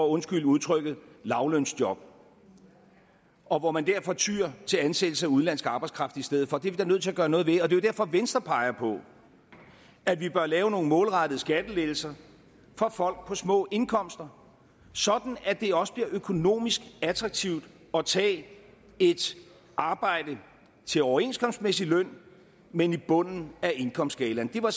undskyld udtrykket lavlønsjob og hvor man derfor tyr til ansættelse af udenlandsk arbejdskraft i stedet for det er vi da nødt til at gøre noget ved og det er jo derfor at venstre peger på at vi bør lave nogle målrettede skattelettelser for folk på små indkomster sådan at det også bliver økonomisk attraktivt at tage et arbejde til overenskomstmæssig løn men i bunden af indkomstskalaen det var